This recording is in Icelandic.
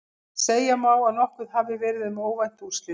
Segja má að nokkuð hafi verið um óvænt úrslit.